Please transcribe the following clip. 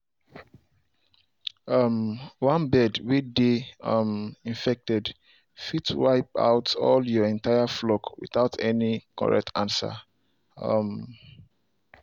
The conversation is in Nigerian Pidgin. um one bird way dey um infected fit wipe out all your entire flock without any correct answer. um